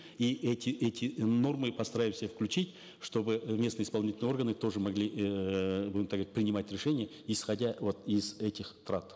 и эти эти нормы постараемся включить чтобы местные исполнительные органы тоже могли эээ будем так говорить принимать решения исходя вот из этих трат